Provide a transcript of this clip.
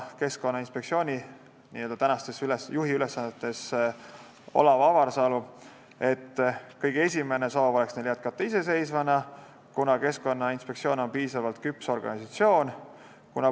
Keskkonnainspektsiooni juhi ülesannetes olev Olav Avarsalu vastas, et kõige esimene soov on neil jätkata iseseisvana, kuna Keskkonnainspektsioon on piisavalt küps organisatsioon.